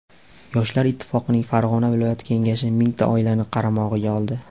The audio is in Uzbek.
Yoshlar ittifoqining Farg‘ona viloyat kengashi mingta oilani qaramog‘iga oldi.